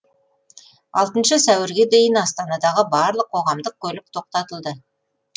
алтыншы сәуірге дейін астанадағы барлық қоғамдық көлік тоқтатылды